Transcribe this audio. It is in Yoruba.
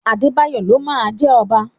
Adébáyọ̀ ló máa jẹ ọba.